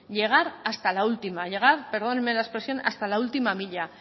llegar hasta la última llegar perdóneme la expresión hasta la última milla